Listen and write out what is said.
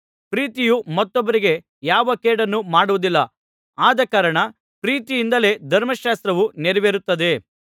ಪ್ರೀತಿಯು ಮತ್ತೊಬ್ಬರಿಗೆ ಯಾವ ಕೇಡನ್ನೂ ಮಾಡುವುದಿಲ್ಲ ಆದಕಾರಣ ಪ್ರೀತಿಯಿಂದಲೇ ಧರ್ಮಶಾಸ್ತ್ರವು ನೆರವೇರುತ್ತದೆ